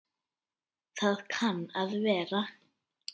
Það kann að vera